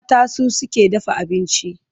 Mata su suke dafa abinci.